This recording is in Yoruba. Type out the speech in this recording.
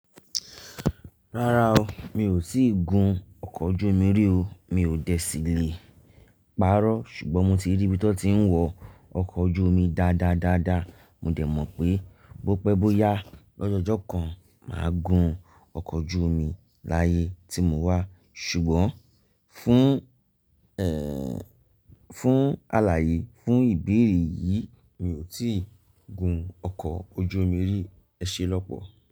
Rárá o, mi ò tíì gun ọkọ̀ ojú omi rí o, mi ò dẹ̀ síle. Párọ́, ṣùgbọ́n mo ti rí bí ti wọ́n ti ń wọ ọkọ̀ ojú omi dáadáa dáadáa, mo dẹ̀ mọ̀ pé bó pẹ́ bó yá lọ́jọ́jọ́ kan máa gun ọkọ̀ ojú omi láyé tí mò wá. Ṣùgbọ́n fún, ẹ́, fún aláyé, fún ìbéèrè yìí, mi ò tíì gun ọkọ̀ ojú omi rí. Ẹ ṣé lọ́pọ̀.